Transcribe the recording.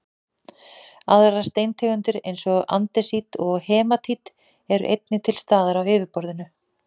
aðrar steintegundir eins og andesít og hematít eru einnig til staðar á yfirborðinu